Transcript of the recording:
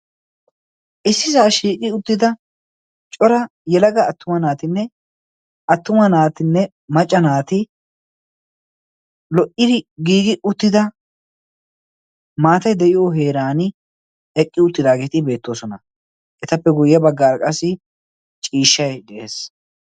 Issisa shiiqqi uttida cora yelaga attuma naatine macca naati loidi gigi uttida maatay deiyo heeran eqqiuttidageti beetosona. Etappe guye baggaara ciishshay de'ees.